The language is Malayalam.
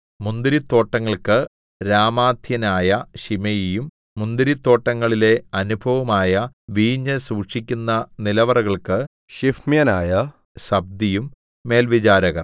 മുന്തിരിത്തോട്ടങ്ങൾക്ക് രാമാത്യനായ ശിമെയിയും മുന്തിരത്തോട്ടങ്ങളിലെ അനുഭവമായ വീഞ്ഞ് സൂക്ഷിക്കുന്ന നിലവറകൾക്ക് ശിഫ്മ്യനായ സബ്ദിയും മേൽവിചാരകർ